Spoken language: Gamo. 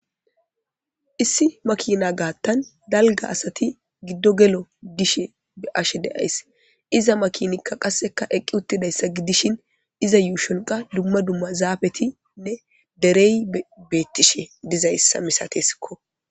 Issi makina gaathan dalggan asati giddo gelo gishin be7ashe days. iza makinay qassekka eqqidi uttidayssa gidishin iza yuushon qassika dumma dumma zaafetinne derey beetishe dizayssa misateeskko.